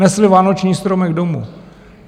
Nesli vánoční stromek domů.